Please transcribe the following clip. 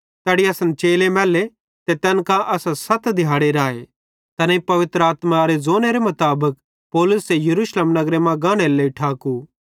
तैड़ी असन चेले मैल्ले ते तैन कां असां सत दिहाड़े राए तैनेईं पवित्र आत्मारे ज़ोने मुताबिक पौलुसे यरूशलेम नगरे मां गानेरे लेइ ठाको